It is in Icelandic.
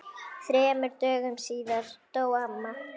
Þremur dögum síðar dó amma.